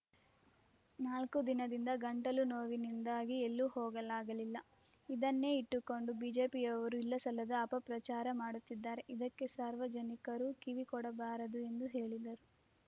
ನಾಲ್ಕು ದಿನದಿಂದ ಗಂಟಲು ನೋವಿನಿಂದಾಗಿ ಎಲ್ಲೂ ಹೋಗಲಾಗಲಿಲ್ಲ ಇದನ್ನೇ ಇಟ್ಟುಕೊಂಡು ಬಿಜೆಪಿಯವರು ಇಲ್ಲಸಲ್ಲದ ಅಪಪ್ರಚಾರ ಮಾಡುತ್ತಿದ್ದಾರೆ ಇದಕ್ಕೆ ಸಾರ್ವಜನಿಕರು ಕಿವಿಕೊಡಬಾರದು ಎಂದು ಹೇಳಿದರು